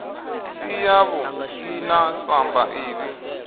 si yavhuḓi na samba ḓivhi